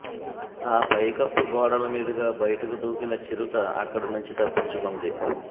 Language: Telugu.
ఆ పైకప్పు గోడల మీదుగా బయటకు దూకిన చిరుత అక్కడినుంచి తప్పించుకుంది